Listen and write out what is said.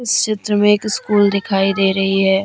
इस चित्र में एक स्कूल दिखाई दे रही है।